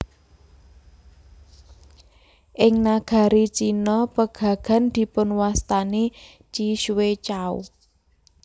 Ing nagari Cina pegagan dipunwastani ji xue cao